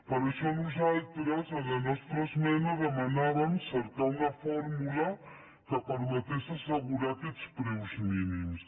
per això nosaltres en la nostra esmena demanàvem cercar una fórmula que permetés assegurar aquests preus mínims